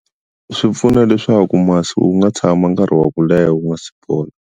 Swi pfuna leswaku masi wu nga tshama nkarhi wa ku leha wu nga si bola.